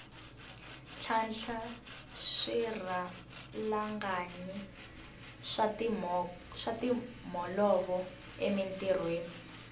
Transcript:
ntlhantlha swirhalanganyi swa timholovo emintirhweni